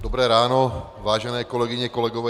Dobré ráno, vážené kolegyně, kolegové.